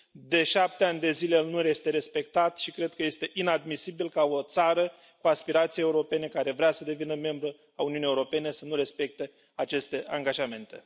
de 7 ani de zile, el nu este respectat și cred că este inadmisibil ca o țară cu aspirații europene, care vrea să devină membră a Uniunii Europene, să nu respecte aceste angajamente.